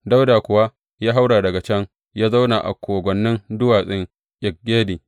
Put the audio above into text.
Dawuda kuwa ya haura daga can ya zauna a kogwannin duwatsun En Gedi.